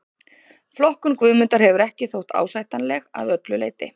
Flokkun Guðmundar hefur ekki þótt ásættanleg að öllu leyti.